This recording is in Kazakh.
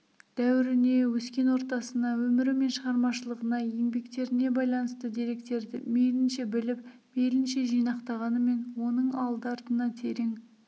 дәуіріне өскен ортасына өмірі мен шығармашылығына еңбектеріне байланысты деректерді мейлінше біліп мейлінше жинақтағанымен оның алды-артына терең